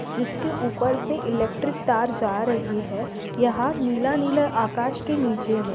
जिसके उपर से इलेक्ट्रिक तार जा रही है यहा नीला नीला आकाश के नीचे है।